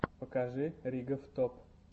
покажи ригоф топ